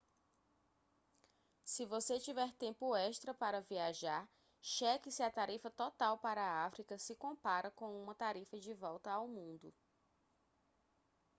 se você tiver tempo extra para viajar cheque se a tarifa total para a áfrica se compara com uma tarifa de volta ao mundo